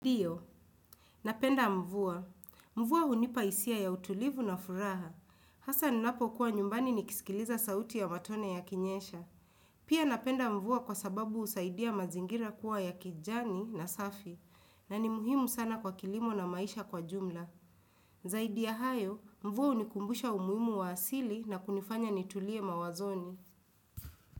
Ndiyo, napenda mvua. Mvua hunipa hisia ya utulivu na furaha. Hasa ninapo kuwa nyumbani nikisikiliza sauti ya matone yakinyesha. Pia napenda mvua kwa sababu usaidia mazingira kuwa ya kijani na safi. Na ni muhimu sana kwa kilimo na maisha kwa jumla. Zaidi ya hayo, mvua hunikumbusha umuhimu wa asili na kunifanya nitulie mawazoni.